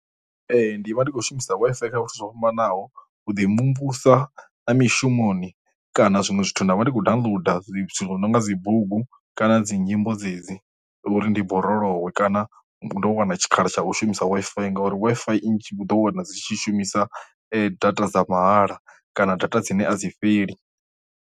Ee ndi vha ndi kho shumisa Wi-Fi kha zwithu zwo fhambanaho u ḓi mvumvusa na mishumoni kana zwiṅwe zwithu na vha ndi khou downloader dzi no nga dzi bugu kana dzi nyimbo dzedzi, uri ndi borolowe kana u ḓo wana tshikhala tsha u shumisa Wi-Fi, ngori Wi-Fi nnzhi vhu ḓo wana dzi tshi shumisa data dza mahala kana data dzine a dzi fheli.